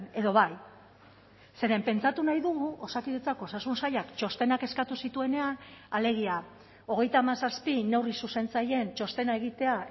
edo bai zeren pentsatu nahi dugu osakidetzak osasun sailak txostenak eskatu zituenean alegia hogeita hamazazpi neurri zuzentzaileen txostena egitea